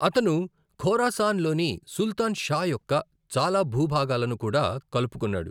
అతను ఖోరాసాన్ లోని Sultan Shah యొక్క చాలా భూభాగాలను కూడా కలుపుకున్నాడు.